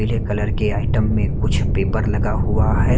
पीले कलर के आईटीएम में कुछ पेपर लगा हुआ हैं।